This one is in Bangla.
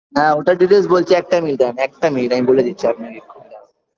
হ্যাঁ ওইটার details বলছি একটা minute দাঁড়ান একটা minute আমি বলে দিচ্ছি আপনাকে